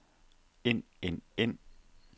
ind ind ind